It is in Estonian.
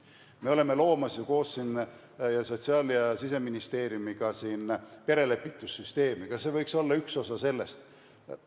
Me loome ju ka Sotsiaal- ja Siseministeeriumiga koos perelepitussüsteemi, see võiks samuti olla üks osa sellest.